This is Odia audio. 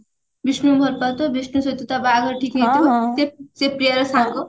ବିଷ୍ଣୁକୁ ଭଲ ପାଉଥିବ ବିଷ୍ଣୁ ସହିତ ତା ବାହାଘର ଠିକ ହେଇଯାଇଥିବ ସେ ପ୍ରିୟାର ସାଙ୍ଗ